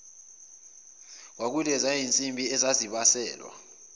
kwakuyileziya zinsimbi ezazibaselwa